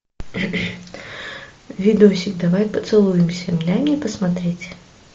видосик давай поцелуемся дай мне посмотреть